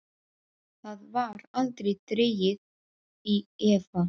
Það var aldrei dregið í efa.